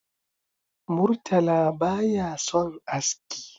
Murtala ba ya son aski